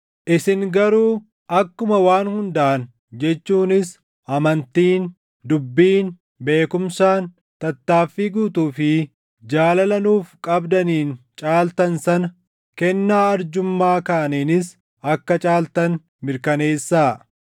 Isin garuu akkuma waan hundaan jechuunis amantiin, dubbiin, beekumsaan, tattaaffii guutuu fi jaalala nuuf qabdaniin caaltan sana, kennaa arjummaa kaaniinis akka caaltan mirkaneessaa.